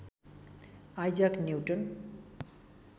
Isaac newton